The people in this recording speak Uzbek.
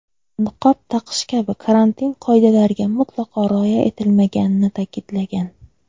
niqob taqish kabi karantin qoidalariga mutlaqo rioya etilmaganini ta’kidlagan.